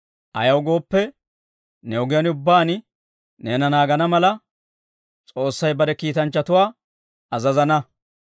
Ayaw gooppe, ne ogiyaan ubbaan neena naagana mala, S'oossay bare kiitanchchatuwaa azazana.